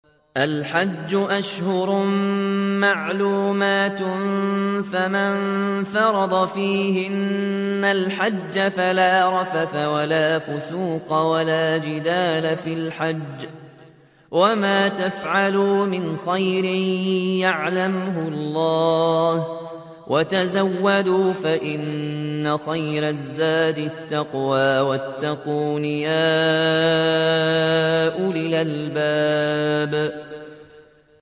الْحَجُّ أَشْهُرٌ مَّعْلُومَاتٌ ۚ فَمَن فَرَضَ فِيهِنَّ الْحَجَّ فَلَا رَفَثَ وَلَا فُسُوقَ وَلَا جِدَالَ فِي الْحَجِّ ۗ وَمَا تَفْعَلُوا مِنْ خَيْرٍ يَعْلَمْهُ اللَّهُ ۗ وَتَزَوَّدُوا فَإِنَّ خَيْرَ الزَّادِ التَّقْوَىٰ ۚ وَاتَّقُونِ يَا أُولِي الْأَلْبَابِ